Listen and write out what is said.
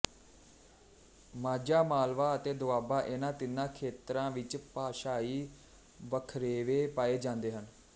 ਮਾਝਾ ਮਾਲਵਾ ਅਤੇ ਦੋਆਬਾ ਇਹਨਾਂ ਤਿੰਨਾਂ ਖੇਤਰਾ ਵਿੱਚ ਭਾਸ਼ਾਈ ਵੱਖਰੇਵੇ ਪਾਏ ਜਾਂਦੇ ਹਨ